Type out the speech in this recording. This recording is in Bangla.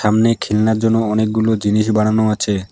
অনেক খেলনার জন্য অনেকগুলো জিনিস বানানো আছে।